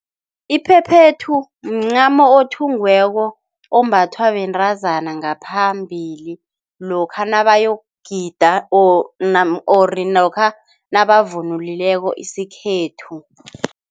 Iphephethu mncamo othungiweko, ombathwa bentazana ngaphambili lokha nabayokugida or or lokha nabavunule isikhethu.